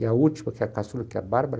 E a última, que é a caçula, que é a Bárbara,